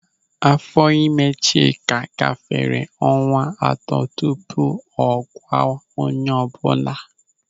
Áfọ́ ịme Chika gafere ọnwa atọ tupu ọ gwa onye ọbụla.